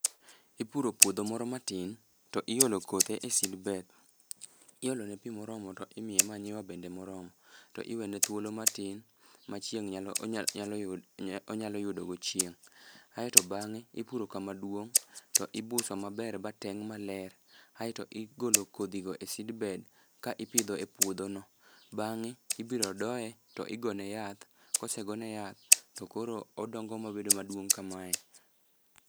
Ipuro puodho moro matin to iolo kothe e seedbed iolo ne pii moromo to imiye manyiwa bende moromo to iwene thuolo matin ma chieng' nyalo yud onyalo yudo go chieng'. Aeto bang'e ipuro kama duong' to ibuso maber ba teng' maler aeto igolo kodhi go e seedbed ka ipidho e puodho no. Bang'e ibiro doye tigone yath. Kosegone yath to koro odongo mobed maduong' kamae.